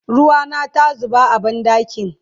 ruwa na ta zuba a banɗakin